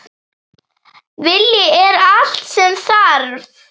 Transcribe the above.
Vilji er allt sem þarf!